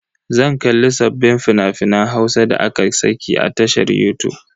Zan kalli sabbin fina-finan Hausan da aka saki a tashar yutub.